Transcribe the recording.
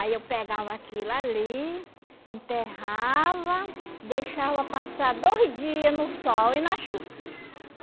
Aí eu pegava aquilo ali, enterrava, deixava passar dois dia no sol e na chuva.